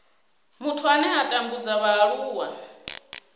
muthu ane a tambudza vhaaluwa